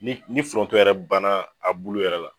Ni ni foronto yɛrɛ banna a bulu yɛrɛ la.